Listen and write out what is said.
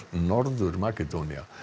Norður Makedónía